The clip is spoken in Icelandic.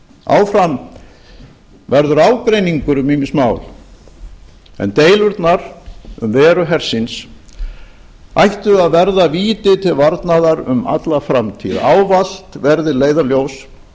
áfram verður ágreiningur um ýmis mál en deilurnar um veru hersins ættu að verða víti til varnaðar um alla framtíð ávallt verði leiðarljós